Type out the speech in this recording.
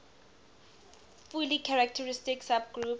fully characteristic subgroup